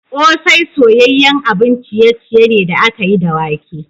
Kose soyayyen abun ciye-ciye ne da aka yi da wake.